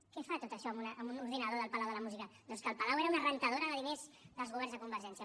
què fa tot això en un ordinador del palau de la música doncs que el palau era una rentadora de diners dels governs de convergència